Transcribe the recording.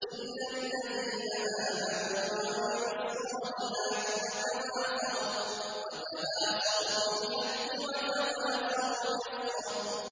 إِلَّا الَّذِينَ آمَنُوا وَعَمِلُوا الصَّالِحَاتِ وَتَوَاصَوْا بِالْحَقِّ وَتَوَاصَوْا بِالصَّبْرِ